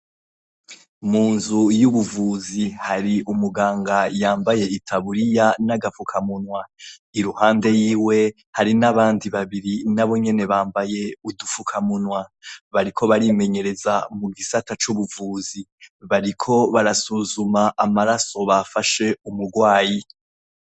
Mu nzu y'ubuvuzi hari umuganga yambaye itaburiya n'agafukamunwa, iruhande yiwe hari n'abandi babiri n'abo nyene bambaye udufukamunwa, bariko barimenyereza mu gisata c'ubuvuzi, bariko barasuzuma amaraso bafashe umugwayi.